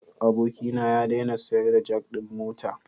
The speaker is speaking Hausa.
Abokina ya daina sayar da jak din mota.